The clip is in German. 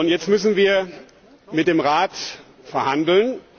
Jetzt müssen wir mit dem Rat verhandeln.